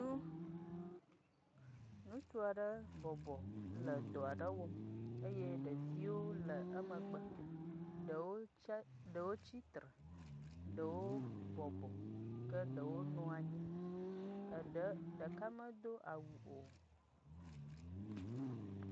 Nu...Ŋutsu aɖe bɔbɔ le dɔ aɖe wɔm eye ɖeviwo le emegbe ɖewo tse dewo tsitre ɖewo bɔbɔ ke ɖewo nɔ anyi eɖe ɖeka medo awu o.